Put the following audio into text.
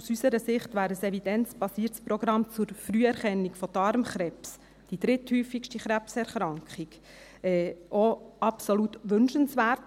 Aus unserer Sicht wäre ein evidenzbasiertes Programm zur Früherkennung von Darmkrebs, der dritthäufigsten Krebserkrankung, auch absolut wünschenswert.